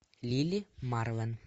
лили марлен